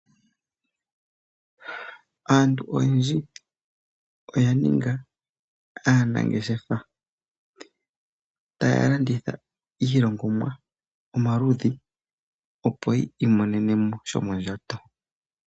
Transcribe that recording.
Aantu oyendji oya ninga aanangeshefa taya landitha iilongomwa omaludhi opo yi imonene mo shomondjato.